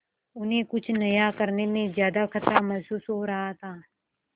उन्हें कुछ नया करने में ज्यादा खतरा महसूस हो रहा था